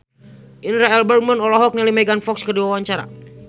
Indra L. Bruggman olohok ningali Megan Fox keur diwawancara